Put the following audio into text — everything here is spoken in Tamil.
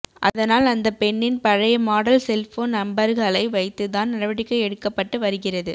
அதனால் அந்த பெண்ணின் பழைய மாடல் செல்போன் நம்பர்களை வைத்துதான் நடவடிக்கை எடுக்கப்பட்டு வருகிறது